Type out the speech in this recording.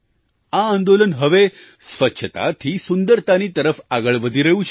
આ આંદોલન હવે સ્વચ્છતાથી સુંદરતાની તરફ આગળ વધી રહ્યું છે